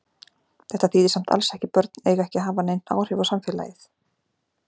Þetta þýðir samt alls ekki börn eiga ekki að hafa nein áhrif á samfélagið.